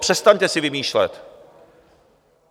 Přestaňte si vymýšlet!